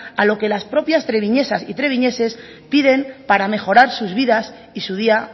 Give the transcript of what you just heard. a lo que las propias treviñesas y treviñeses piden para mejorar sus vidas y su día